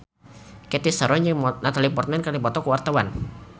Cathy Sharon jeung Natalie Portman keur dipoto ku wartawan